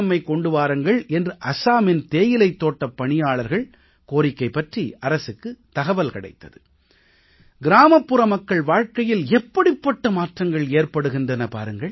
mic கொண்டு வாருங்கள் என்று அசாமின் தேயிலைத் தோட்டப் பணியாளர்கள் கோரிக்கை பற்றி அரசுக்கு தகவல் கிடைத்தது கிராமப்புற மக்கள் வாழ்க்கையில் எப்படிப்பட்ட மாற்றங்கள் ஏற்படுகின்றன பாருங்கள்